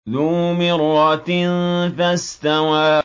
ذُو مِرَّةٍ فَاسْتَوَىٰ